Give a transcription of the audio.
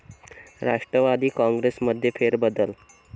राष्ट्रवादी काँग्रेसमध्ये फेरबदल?